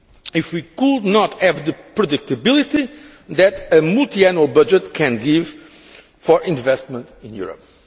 be if we could not have the predictability that a multiannual budget can give for investment in Europe.